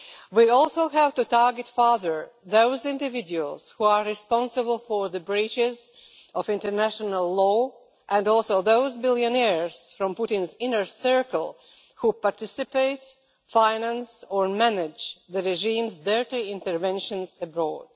We also have to target further those individuals who are responsible for the breaches of international law and also those billionaires from Putin's inner circle who participate, finance or manage the regime's dirty interventions abroad.